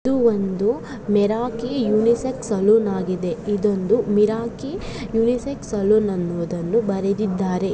ಇದು ಒಂದು Miraki unisex salon ಆಗಿದೆ. ಇದೊಂದು ಮಿರಾಕಿ ಯುನಿ-ಸೆಕ್ಸ್ ಸಲೂನ್ ಅನ್ನುದನ್ನು ಬರೆದಿದ್ದಾರೆ.